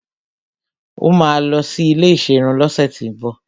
Ó máa lọ sí ilé ìserun lọ́sẹ̀tíbọ̀